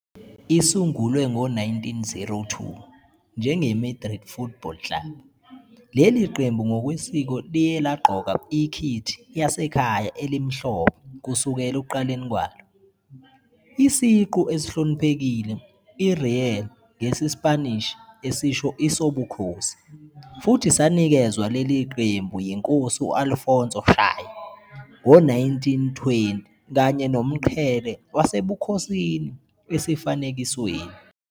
Isungulwe ngo-1902 njenge-Madrid Football Club, leli qembu ngokwesiko liyelagqoka ikhithi yasekhaya elimhlophe kusukela ekuqaleni kwalo. Isiqu esihloniphekile i-Real ngesiSpanishi esisho "isobukhosi" futhi sanikezwa leli qembu yiNkosi u-Alfonso XIII ngo-1920 kanye nomqhele wasebukhosini esifanekisweni.